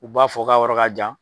U b'a fɔ ka yɔrɔ ka jan.